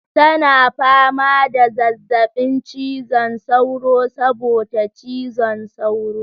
Tana fama da zazzabin cizon sauro saboda cizon sauro.